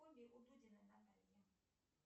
у дудиной натальи